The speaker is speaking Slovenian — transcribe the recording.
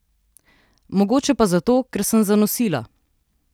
Mogoče pa zato, ker sem zanosila.